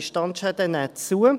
Diese Standschäden nehmen zu.